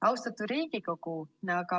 Austatud Riigikogu!